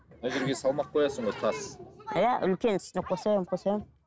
мына жерге салмақ қоясың ғой тас иә үлкен үстіне қоса беремін қоса беремін